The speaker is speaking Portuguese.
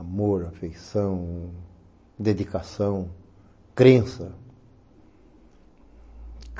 Amor, afeição, dedicação, crença.